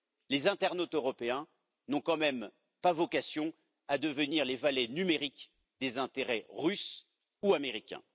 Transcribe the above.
Les internautes européens n'ont quand même pas vocation à devenir les valets numériques des intérêts russes ou américains.